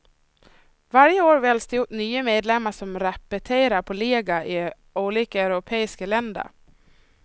Varje år väljs det ut nya medlemmar som repeterar på läger i olika europeiska länder.